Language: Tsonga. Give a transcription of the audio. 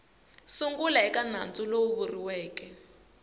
sungula eka nandzu lowu vuriweke